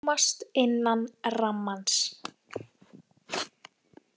Rúmast innan rammans